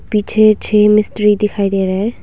पीछे छे मिस्त्री दिखाई दे रहे है।